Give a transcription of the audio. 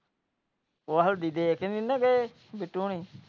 ਉਹ ਹਲਦੀ ਦੇ ਕੇ ਨਹੀਂ ਗਏ ਬਿੱਟੂ ਹੋਣੀ।